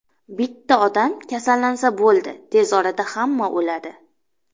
Bitta odam kasallansa bo‘ldi, tez orada hamma o‘ladi.